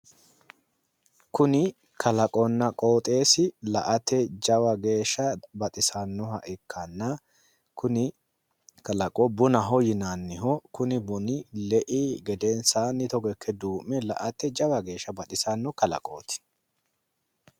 Kuni kalqonna qooxeesi la'ate jawa geeshsha baxisannoha ikkanna, kuni kalaqo bunaho yinanniho kuni buni lei gedensaanni togo ikke duu'me la'ate Jawa geeshsha baxisanno kalaqooti.